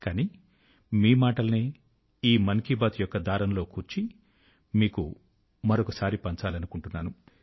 కానీ మీ మాటలనే ఈ మన్ కీ బాత్ యొక్క దారం లో కూర్చి మీకు మరొకసారి పంచాలనుకుంటున్నాను